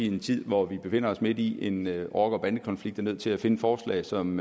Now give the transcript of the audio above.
en tid hvor vi befinder os midt i en rocker bande konflikt er nødt til at finde forslag som